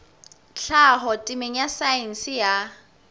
tlhaho temeng ya saense ya